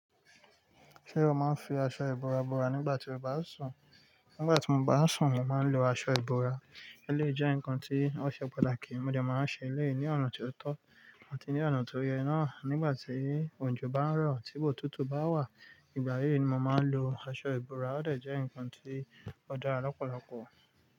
Ṣé o máa ń fi aṣọ ìbora bora nígbà tí o bá sùn? Nígbà tí mo bá sùn, mo máa ń lo aṣọ ìbora. Eleyii jẹ́ ǹkan tí ó ṣe patakí Mo dẹ máa n ṣe eleyii ní ọ̀nà ti o tọ́ àti ní ọ̀nà tó yẹ naa nígbà tí òjò bá ń rọ̀, tí otútù bá wà, ìgbà yíi ni mo máa ń lo aṣọ ìbora. Ó de jẹ́ ǹkan tí ó dára lọ́pọ̀lọpọ̀